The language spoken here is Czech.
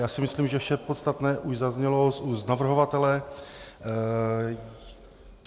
Já si myslím, že vše podstatné už zaznělo z úst navrhovatele.